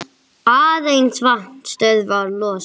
Aðeins vatn stöðvar losun.